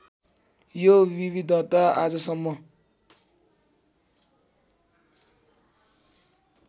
यो विविधता आजसम्म